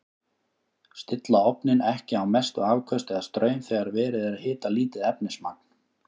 Stilla ofninn ekki á mestu afköst eða straum þegar verið er að hita lítið efnismagn.